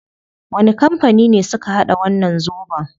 Wani kampani ne suka hada wannan zobon?